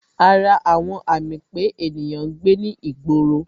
Ara àwọn àmì pé ènìyàn ń gbé ní ìgboro